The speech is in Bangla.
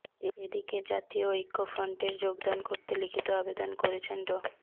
এদিকে জাতীয় ঐক্যফফ্রন্টের যোগদান করতে লিখিত আবেদন করেছেন ড